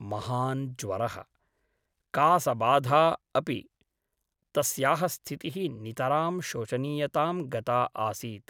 महान् ज्वरः । कासबाधा अपि । तस्याः स्थितिः नितरां शोचनीयतां गता आसीत् ।